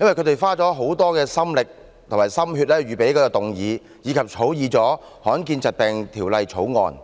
因為他們花了很多心力和心血預備這項議案，以及草擬了《罕見疾病條例草案》。